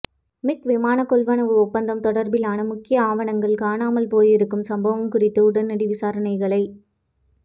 மிக் விமானக் கொள்வனவு ஒப்பந்தம் தொடர்பிலான முக்கிய ஆவணங்கள் காணாமல் போயிருக்கும் சம்பவம் குறித்து உடனடி விசாரணைகளை